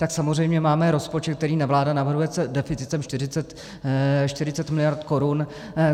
Tak samozřejmě máme rozpočet, který vláda navrhuje s deficitem 40 miliard korun.